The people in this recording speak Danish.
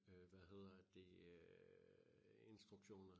øh hvad hedder det øh instruktioner